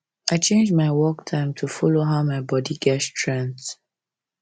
i change my work time to follow how my body get strength